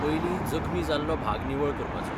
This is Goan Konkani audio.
पयलीं, जखमी जाल्लो भाग निवळ करपाचो.